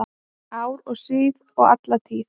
Ár og síð og alla tíð